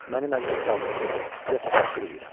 Mənim əziz kralım, sizə təşəkkür eləyirəm.